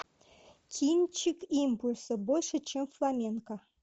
кинчик импульса больше чем фламенко